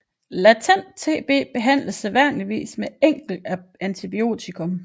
Latent TB behandles sædvanligvis med et enkelt antibiotikum